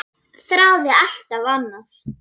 Þráði alltaf annað.